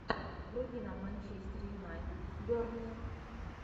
вруби нам манчестер юнайтед бернли